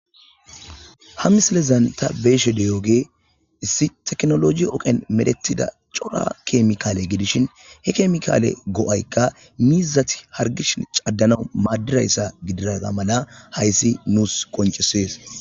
Ha misilezan ta beeshe deyooge issi teknoloji oqen medetida cora keemikaale gidishin he keemikaale go7aykka miizati hargishi caddanawu maaddirayssa gidiraza mala hayssi nuus qoncesees.